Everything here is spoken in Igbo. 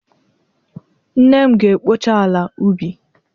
Nne m ga-ekpocha ala ubi.